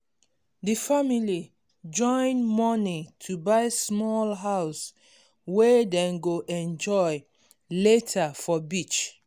d family join money to buy small house wey dem go enjoy later for beach